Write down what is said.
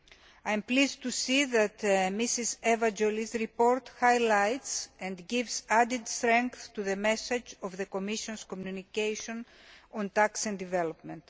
I am pleased to see that Mrs Eva Joly's report highlights, and gives added strength to, the message of the Commission's communication on tax and development.